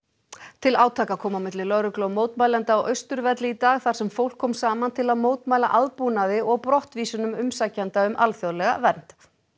til átaka kom á milli lögreglu og mótmælenda á Austurvelli í dag þar sem fólk kom saman til að mótmæla aðbúnaði og brottvísunum umsækjenda um alþjóðlega vernd